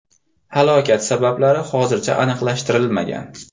Halokat sabablari hozircha aniqlashtirilmagan.